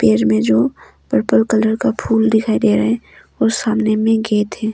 पेर में जो पर्पल कलर का फूल दिखाई दे रहा है और सामने में गेट है।